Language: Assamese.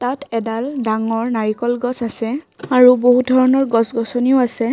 ইয়াত এডাল ডাঙৰ নাৰিকল গছ আছে আৰু বহু ধৰণৰ গছ গছনিও আছে।